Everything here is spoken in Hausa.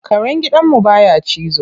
Karen gidan mu baya cizo.